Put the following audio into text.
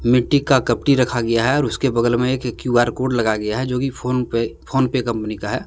मिट्टी का कपटी रखा गया है और उसके बगल में एक क्यू_आर कोड लगाया गया है जो कि PhonePe PhonePe company का है।